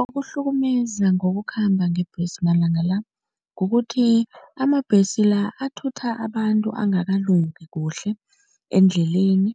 Okuhlukumeza ngokukhamba ngebhesi malanga la kukuthi amabhesi la athutha abantu angakalungi kuhle endleleni